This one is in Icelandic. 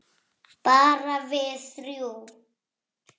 Bara við þrjú.